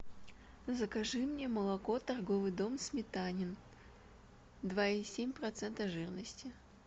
закажи мне молоко торговый дом сметанин два и семь процента жирности